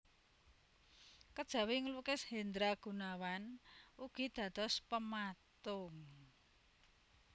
Kejawi nglukis Hendra Gunawan ugi dados pematung